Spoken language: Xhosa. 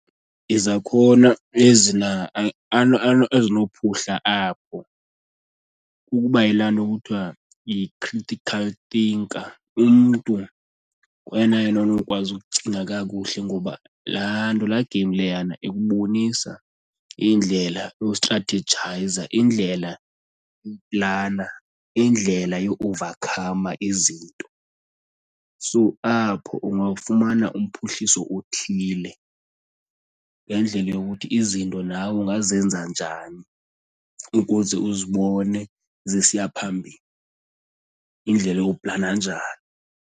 Izakhono ezinophuhla apho kukuba yilaa nto kuthiwa yi-critical thinker umntu nguyena yena anokukwazi ukucinga kakuhle ngoba laa nto, laa game leyana ikubonisa indlela yokustrathejayiza, indlela plana indlela yo-owuvakhama izinto. So apho ungawufumana umphuhliso othile ngendlela yokuthi izinto nawe ungazenza njani ukuze uzibone zisiya phambili, indlela yokuplana njani.